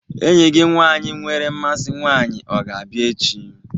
Enyi nwaanyị gị nwere mmasị nwaanyị ọ ga-abịa echi?